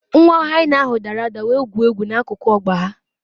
Nwa hyena ahụ dara ada wee gwuo egwu n’akụkụ ọgba ha